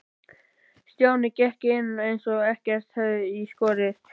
Stjáni gekk inn eins og ekkert hefði í skorist.